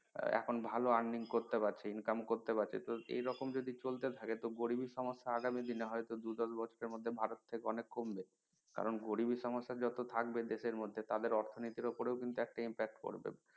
এখন ভালো earning করতে পারছে income করতে পারছে তো এইরকম যদি চলতে থাকে তো গরিবি সমস্যা আগামী দিনে দু দশ বিচারের মধ্যে ভারত থেকে অনেক কমবে কারন গরিবি সমস্যা জট থাকবে দেশের মধ্যে তাদের অর্থনীতি র উপরেও কিন্তু একটা impact পড়বে